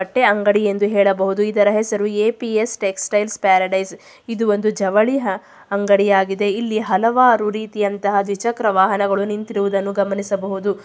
ಬಟ್ಟೆ ಅಂಗಡಿ ಎಂದು ಹೇಳಬಹುದು ಇದರ ಹೆಸರು ಎಪಿಎಸ್ ಟೆಕ್ಸ್ಟೈಲ್ ಪ್ಯಾರಡೈಸ್ ಇದು ಒಂದು ಜವಳಿ ಹ ಅಂಗಡಿಯಾಗಿದೆ ಇಲ್ಲಿ ಹಲವಾರು ರೀತಿಯಂತಹ ದ್ವಿಚಕ್ರ ವಾಹನಗಳು ನಿಂತಿರುವುದನ್ನು ಗಮನಿಸಬಹುದು.